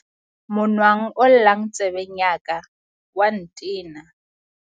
monwang o llang tsebeng ya ka o a ntena